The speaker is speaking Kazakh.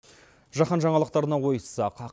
жахан жаңалықтарына ойыссақ